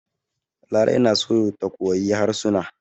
Larai na so ta koyi harsuna.